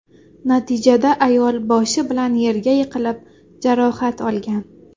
Natijada ayol boshi bilan yerga yiqilib, jarohat olgan.